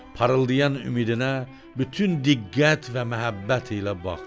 Parıldayan ümidinə bütün diqqət və məhəbbət ilə baxdı.